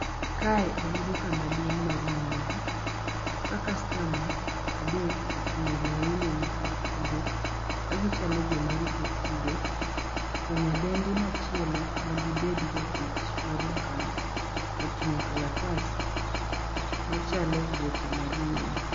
Kae en duka maduong' mar nyiewo. Ka customer adek ochung' e laini ma kar chudo ka gichalo joma rito chudo. To nyadendi machielo madibedi jatich mar duka ni, oting'o kalatas machalo voucher mar nyiewo.